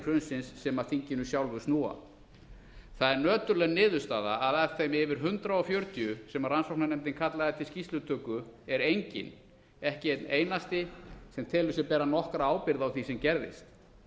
hrunsins sem að þinginu sjálfu snúa það er nöturleg niðurstaða að af þeim yfir hundrað fjörutíu sem rannsóknarnefndin kallaði til skýrslutöku er enginn ekki einn einasti sem telur sig bera nokkra ábyrgð á því sem gerðist